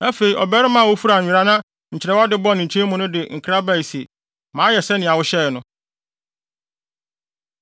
Afei ɔbarima a ofura nwera na nkyerɛwe ade bɔ ne nkyɛn mu no de nkra bae se, “Mayɛ sɛnea wohyɛe no.”